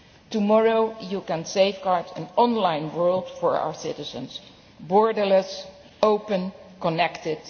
to you. Tomorrow you can safeguard an online world for our citizens borderless, open, connected.